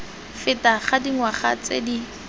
feta ga dingwaga tse di